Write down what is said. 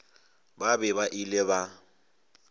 ba be ba ile ba